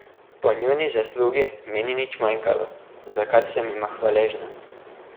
Po njuni zaslugi mi ni nič manjkalo, za kar sem jima hvaležna.